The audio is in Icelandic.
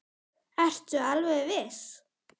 Ertu alveg viss?